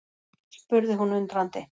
spurði hún undrandi.